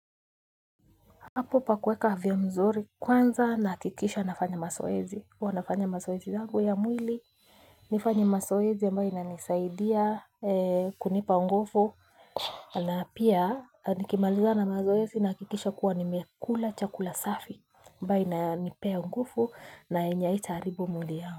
Apo pa kuweka afya mzuri kwanza nahakikisha nafanya masoezi huwa nafanya masoezi yangu ya mwili. Nifanye masoezi ambayo ina nisaidia kunipa ngufu. Na pia nikimaliza na mazoezi na hakikisha kuwa nimekula chakula safi ambayo ina nipea ngufu na yenye haita haribu mwili yangu.